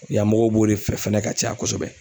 Yanmɔgɔw b'o de fɛ fɛnɛ ka caya kosɛbɛ.